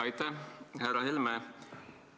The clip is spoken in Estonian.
Aitäh, härra Helme!